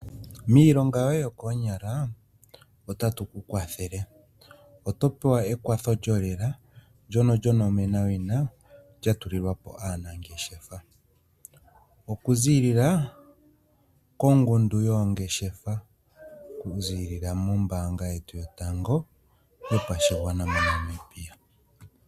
Miilonga yoye yokoonyala otatu ku kwathele, oto pewa ekwatho lyolela ndono lyonomenawina lya tulilwa po aanangeshefa okuziilila kongundu yoongeshefa, okuziilila mombaanga yetu yotango yopashigwana moNamibia.